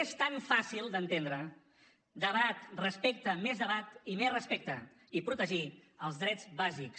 és tan fàcil d’entendre debat respecte més debat i més respecte i protegir els drets bàsics